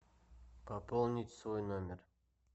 пополнить свой номер